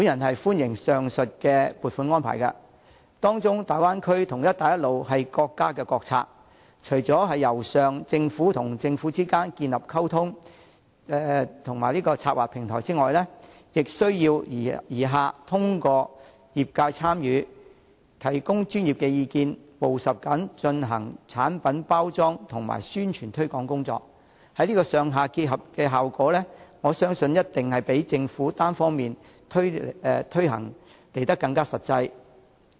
我歡迎上述撥款安排，其中大灣區和"一帶一路"是國家國策，除了"由上"政府與政府之間建立溝通及策劃平台外，也需"而下"透過業界參與，提供專業意見，務實地進行產品包裝及宣傳推廣工作，這種"上下結合"安排必定較由政府單方面推行更為實際。